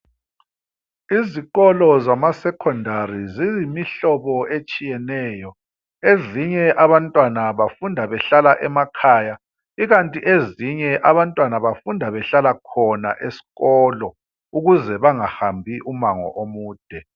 Izikolo zama "Secondary" ziyimihlobo etshiyeneyo, ezinye abantwana bafunda behlala emakhaya ikanti ezinye abantwana bafunda behlala khona esikolo ukuze bengahambi umango omude.